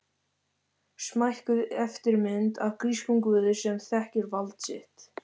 Smækkuð eftirmynd af grískum guði sem þekkir vald sitt.